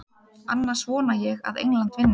Annars vona ég að England vinni.